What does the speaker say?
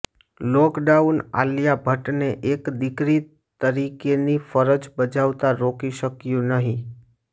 lockdown Alia ભટ્ટને એક દીકરી તરીકેની ફરજ બજાવતા રોકી શક્યું નથી